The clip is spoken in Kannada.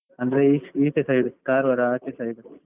ಅಂದ್ರೆ ಈಚೆ ಈಚೆ side Karwar ಆಚೆ side .